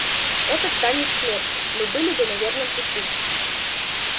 этот танец смерти мы были бы на верном пути